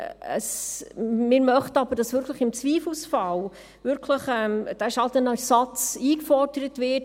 Wir möchten aber, dass im Zweifelsfall dieser Schadenersatz wirklich eingefordert wird.